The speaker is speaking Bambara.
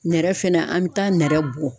Nɛrɛ fɛnɛ an bi taa nɛrɛ bɔ.